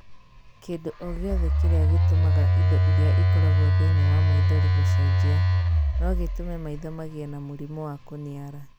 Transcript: Kĩndũ o gĩothe kĩrĩa gĩtũmaga indo iria ĩkoragũo thĩĩni wa maithori gũcenjia no gĩtũme maitho magĩe na mũrimũ wa kũniara.